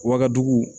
Wa dugu